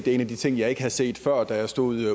en af de ting jeg ikke havde set før da jeg stod